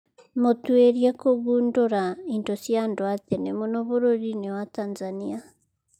Mũtuĩria kũgundũra indo cia andũ a tene mũno bũrũri-inĩ wa Tanzania